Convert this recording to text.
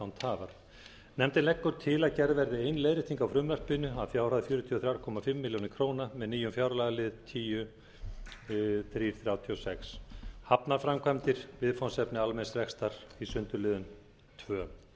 tafar nefndin leggur til að gerð verði ein leiðrétting á frumvarpinu að fjárhæð fjörutíu og þrjú og hálfa milljón króna með nýjum fjárlagalið tíu til þrjú hundruð þrjátíu og sex hafnarframkvæmdir viðfangsefni almenns rekstrar í sundurliðun önnur